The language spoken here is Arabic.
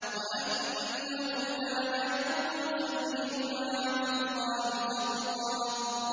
وَأَنَّهُ كَانَ يَقُولُ سَفِيهُنَا عَلَى اللَّهِ شَطَطًا